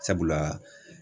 Sabula